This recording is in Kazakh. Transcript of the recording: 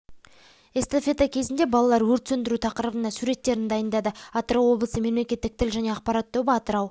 эстафета кезінде балалар өрт сөндіру тақырыбында суреттерін дайындады атырау облысы мемлекетік тіл және ақпарат тобы атырау